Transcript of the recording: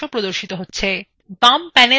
export dialog box প্রদর্শিত হচ্ছে